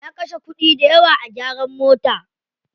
Ya kashe kuɗi dayawa a gyaran mota.